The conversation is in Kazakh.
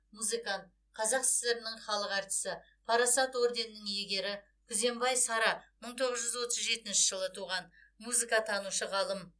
музыкант қазақ сср інің халық әртісі парасат орденінің иегері күзембай сара мың тоғыз жүз отыз жетінші жылы туған музыкатанушы ғалым